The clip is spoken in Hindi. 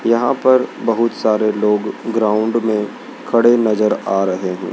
यहां पर बहुत सारे लोग ग्राउंड में खड़े नजर आ रहे हैं।